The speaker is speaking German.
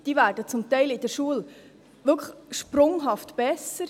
Sie werden zum Teil in der Schule wirklich sprunghaft besser.